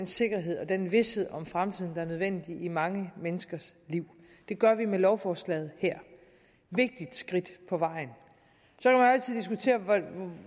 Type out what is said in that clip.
sikkerhed og den vished om fremtiden der er nødvendig i mange menneskers liv det gør vi med lovforslaget her et vigtigt skridt på vejen så kan man